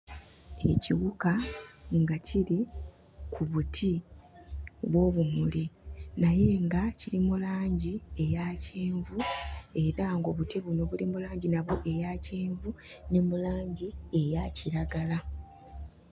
Ekiwuka nga kiri ku buti bw'obumuli, naye nga kiri mu langi eya kyenvu era ng'obuti buno buli mu langi nabwo eya kyenvu ne mu langi eya kiragala.